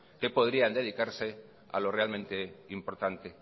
que podrían dedicarse a lo realmente importante